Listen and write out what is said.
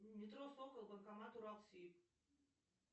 метро сокол банкомат уралсиб